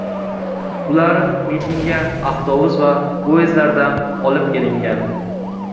Ular mitingga avtobus va poyezdlarda olib kelingan.